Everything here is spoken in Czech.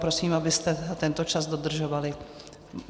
Prosím, abyste tento čas dodržovali.